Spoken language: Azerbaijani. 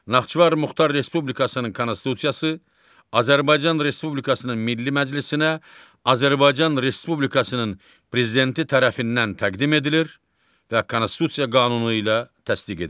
Naxçıvan Muxtar Respublikasının Konstitusiyası Azərbaycan Respublikasının Milli Məclisinə Azərbaycan Respublikasının Prezidenti tərəfindən təqdim edilir və Konstitusiya qanunu ilə təsdiq edilir.